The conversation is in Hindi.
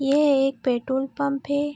यह एक पेट्रोल पंप है।